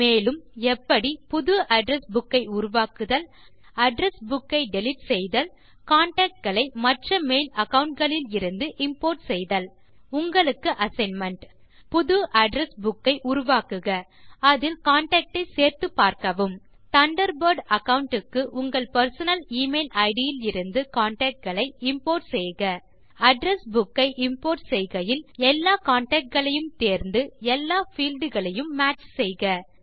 மேலும் எப்படி புது அட்ரெஸ் புக் ஐ உருவாக்குதல் அட்ரெஸ் புக் ஐ டிலீட் செய்தல் கான்டாக்ட் களை மற்ற மெயில் அகாவுண்ட் களிலிருந்து இம்போர்ட் செய்தல் உங்களுக்கு அசைன்மென்ட் புது அட்ரெஸ் புக் ஐ உருவாக்குக அதில் கான்டாக்ட் ஐ சேர்த்து பார்க்கவும் தண்டர்பர்ட் அகாவுண்ட் க்கு உங்கள் பெர்சனல் எமெயில் இட் இலிருந்து contactகளை இம்போர்ட் செய்க அட்ரெஸ் புக் ஐ இம்போர்ட் செய்கையில் எல்லா கான்டாக்ட் களையும் தேர்ந்து எல்லா பீல்ட் களையும் மேட்ச் செய்க